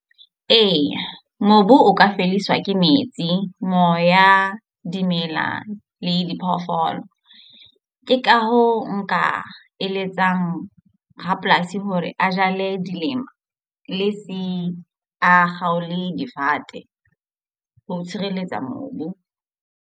Eya mobu o ka fediswa ke metsi, moya, dimela le diphoofolo. Ke ka hoo nka eletsang rapolasi hore a jale dilemo le se a kgaole difate ho tshireletsa mobu.